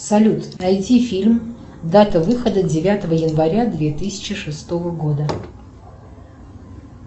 салют найди фильм дата выхода девятого января две тысячи шестого года